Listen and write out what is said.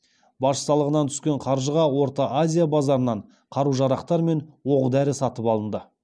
баж салығынан түскен қаржыға орта азия базарынан қару жарақтар мен оқ дәрі сатып алынды